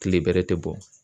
Kile bɛrɛ tɛ bɔ.